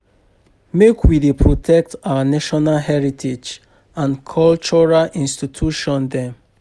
Make we dey protect our national heritage and cultural institution dem.